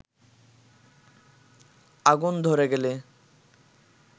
আগুন ধরে গেলে